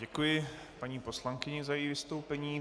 Děkuji paní poslankyni za její vystoupení.